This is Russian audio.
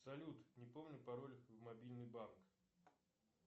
салют не помню пароль в мобильный банк